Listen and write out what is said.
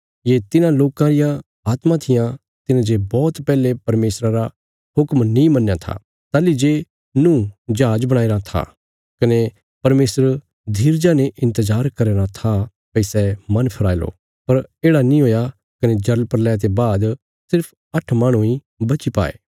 ये तिन्हां लोकां रियां आत्मां थिआं तिन्हेंजे बौहत पैहले परमेशरा रा हुक्म नीं मन्नया था ताहली जे नूँह जहाज बणाईराँ था कने परमेशर धीरजा ने इन्तजार करया राँ था भई सै मन फिराई लो पर येढ़ा नीं हुया कने जलप्रलय ते बाद सिर्फ आट्ठ माहणु इ बची पाये